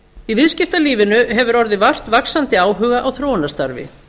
í viðskiptalífinu hefur orðið vart vaxandi áhuga á þróunarstarfi